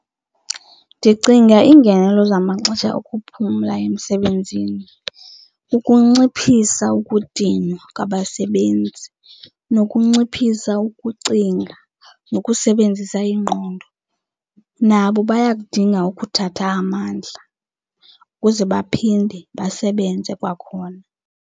Ndicinga iingenelo zamaxesha okuphumla emsebenzini kukunciphisa ukudinwa kwabasebenzi, nokunciphisa ukucinga nokusebenzisa ingqondo. Nabo bayakudinga ukuthatha amandla ukuze baphinde basebenze kwakhona.